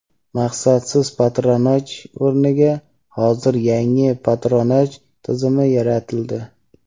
maqsadsiz patronaj o‘rniga hozir yangi patronaj tizimi yaratildi.